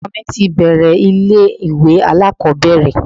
Ọmọ mi ti bẹ̀ẹ̀rẹ̀ ilé ìwé alákọ̀ọ́bẹ̀rẹ̀.